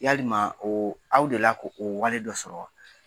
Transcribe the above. Yalima o aw deli la k'o o wale dɔ sɔrɔ wa?